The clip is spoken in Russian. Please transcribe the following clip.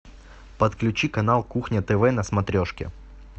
подключи канал кухня тв на смотрешке